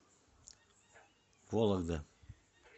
вологда